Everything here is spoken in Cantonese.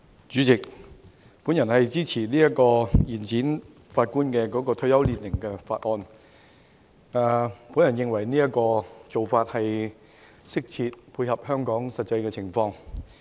主席，我支持《2019年司法人員條例草案》，我認為有關做法適切，並能配合香港的實際情況。